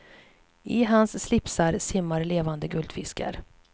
I hans slipsar simmar levande guldfiskar.